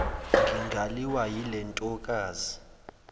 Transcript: ngingaliwa yile ntokazi